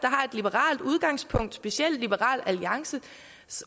liberalt udgangspunkt specielt liberal alliances